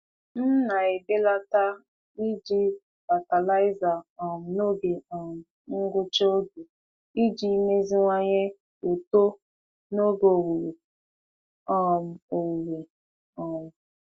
M na-ebelata iji fatịlaịza um n'oge um ngwụcha oge iji meziwanye uto n'oge owuwe. um owuwe. um